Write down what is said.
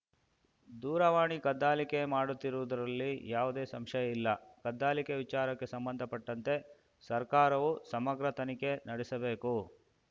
ದೂರವಾಣಿ ಕದ್ದಾಲಿಕೆ ಮಾಡುತ್ತಿರುವುದರಲ್ಲಿ ಯಾವುದೇ ಸಂಶಯ ಇಲ್ಲ ಕದ್ದಾಲಿಕೆ ವಿಚಾರಕ್ಕೆ ಸಂಬಂಧಪಟ್ಟಂತೆ ಸರ್ಕಾರವು ಸಮಗ್ರ ತನಿಖೆ ನಡೆಸಬೇಕು